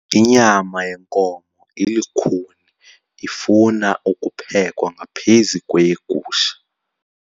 Inyama yenkomo ilukhuni ifuna ukuphekwa ngaphezu kweyegusha.